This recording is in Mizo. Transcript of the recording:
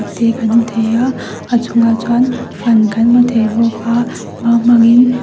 te kan hmu thei a a chungah chuan fan kan hmu thei bawk a mau hmangin --